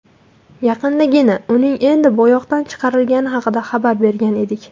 Yaqindagina uning endi bo‘yoqdan chiqarilgani haqida xabar bergan edik .